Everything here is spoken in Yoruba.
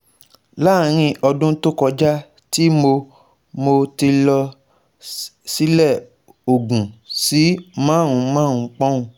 Laarin odun to koja ti mo mo ti lọ silẹ ogun si marun-marun poun